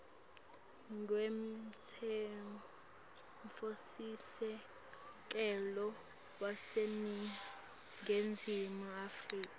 kwemtsetfosisekelo waseningizimu afrika